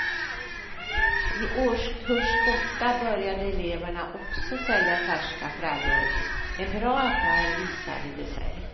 I årskurs åtta började eleverna också sälja färska frallor, en bra affär visade det sig.